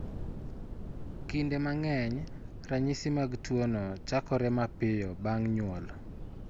Kinde mang'eny, ranyisi mag tuwono chakore mapiyo bang' nyuol.